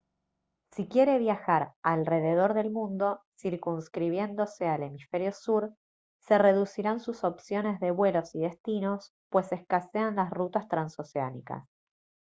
si quiere viajar alrededor del mundo circunscribiéndose al hemisferio sur se reducirán sus opciones de vuelos y destinos pues escasean las rutas transoceánicas